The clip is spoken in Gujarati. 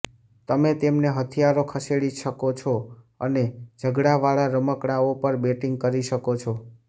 તમે તેમને હથિયારો ખસેડી શકો છો અને ઝઘડાવાળા રમકડાઓ પર બેટિંગ કરી શકો છો